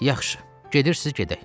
Yaxşı, gedirsiz, gedək.